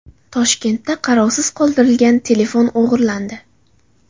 Toshkentda qarovsiz qoldirilgan telefon o‘g‘irlandi.